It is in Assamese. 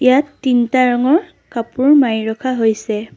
ইয়াত তিনটা ৰঙৰ কাপোৰ মাৰি ৰখা হৈছে।